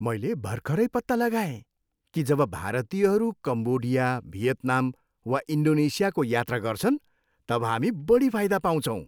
मैले भर्खरै पत्ता लगाए कि जब भारतीयहरू कम्बोडिया, भियतनाम वा इन्डोनेसियाको यात्रा गर्छन् तब हामी बढी फाइदा पाउँछौँ।